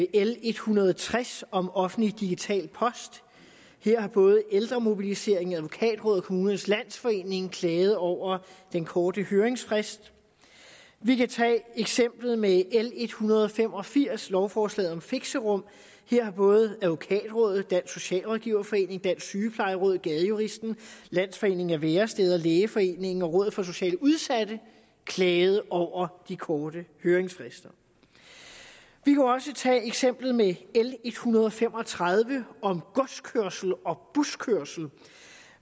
l en hundrede og tres om offentlig digital post her har både ældremobiliseringen advokatrådet og kommunernes landsforening klaget over den korte høringsfrist vi kan tage eksemplet med l en hundrede og fem og firs lovforslaget om fixerum her har både advokatrådet dansk socialrådgiverforening dansk sygeplejeråd gadejuristen landsforeningen af væresteder lægeforeningen og rådet for socialt udsatte klaget over de korte høringsfrister vi kunne også tage eksemplet med l en hundrede og fem og tredive om godskørsel og buskørsel